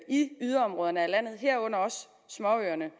i yderområderne af landet herunder også småøerne